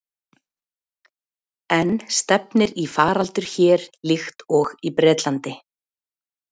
En stefnir í faraldur hér líkt og í Bretlandi?